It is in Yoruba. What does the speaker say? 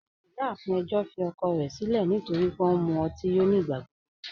Ọmọ-iyáafin ẹ̀jọ́ fì ọ̀kọ̀ rẹ̀ sílẹ̀ nítorí pẹ̀ ọ̀ n mú òtí yó nígbàgbọ̀gbọ